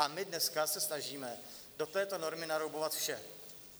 A my dneska se snažíme do této normy naroubovat vše.